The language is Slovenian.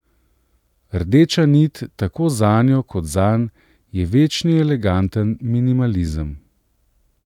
Rdeča nit tako zanjo kot zanj je večni eleganten minimalizem.